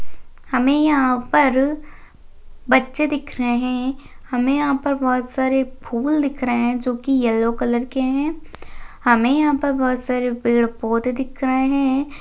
हमे यहाँ पर बच्छे दिख रहे है हमे यहाँ पर बहुत सारे फूल दिख रहे है जो की येल्लो कलर के है हमे यहाँ पर बहुत सारे पेड़ पौधे दिख रहे है।